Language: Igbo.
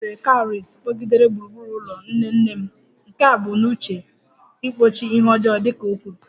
E nwere cowries kpọgidere gburugburu ụlọ nne nne m, nke e bu n'uche igbochi ihe ọjọọ dị ka o kwuru